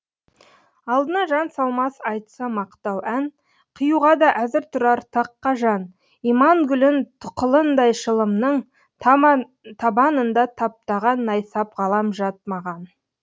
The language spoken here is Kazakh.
алдына жан салмас айтса мақтау ән қиюға да әзір тұрар таққа жан иман гүлін тұқылындай шылымның табанында таптаған найсап ғалам жат маған